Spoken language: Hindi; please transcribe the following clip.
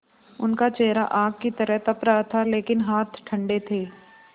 उनका चेहरा आग की तरह तप रहा था लेकिन हाथ ठंडे थे